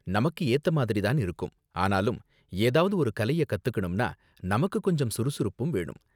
நமக்கு ஏத்த மாதிரி தான் இருக்கும், ஆனாலும் ஏதாவது ஒரு கலைய கத்துக்கணும்னா நமக்கு கொஞ்சம் சுறுசுறுப்பும் வேணும்.